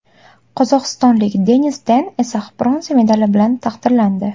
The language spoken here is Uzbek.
Qozog‘istonlik Denis Ten esa bronza medali bilan taqdirlandi.